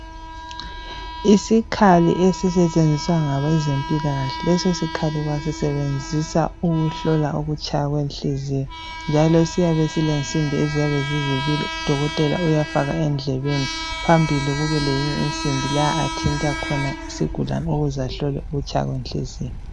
Isikhali esisetshenziswa ngabezempilakahle leso sikhali basisebenzisa ukuhlola ukutshaya kwenhliziyo. Njalo siyabe silensimbi esiyabe sizibili. Odokotela bafaka endlebeni phambili kube leyinye insimbi la athinta khona isigulane ukuzahlole ukutshaya kwenhliziyo.